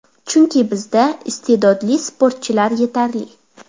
Chunki, bizda iste’dodli sportchilar yetarli.